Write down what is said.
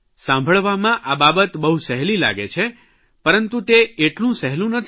સાંભળવામાં આ બાબત બહુ સહેલી લાગે છે પરંતુ તે એટલું સહેલું નથી